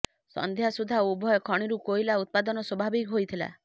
ସନ୍ଧ୍ୟା ସୁଦ୍ଧା ଉଭୟ ଖଣିରୁ କୋଇଲା ଉତ୍ପାଦନ ସ୍ୱାଭାବିକ ହୋଇଥିଲା